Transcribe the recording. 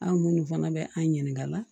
An minnu fana bɛ an ɲininka